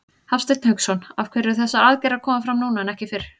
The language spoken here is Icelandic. Hafsteinn Hauksson: Af hverju eru þessar aðgerðir að koma fram núna en ekki fyrr?